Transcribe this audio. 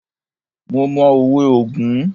Mo mọ òwe ogún.